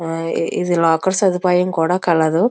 ఆ ఇది లోకెర్ సదుపాయం కూడా కలదు